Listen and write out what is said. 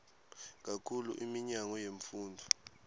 kakhulu iminyango yemfundvo